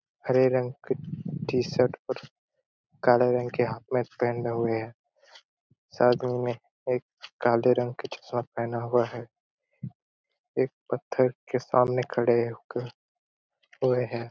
हरे रंग कट t-shirt और काला रंग के हाफ पैंट पहने हुए है सर में एक काले रंग के चश्मा पेना हुआ है एक पत्थर के सामने खड़े हो कर होय है।